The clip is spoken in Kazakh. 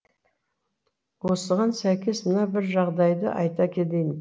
осыған сәйкес мына бір жағдайды айта кетейін